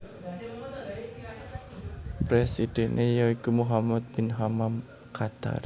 Presidhèné ya iku Mohammed bin Hammam Qatar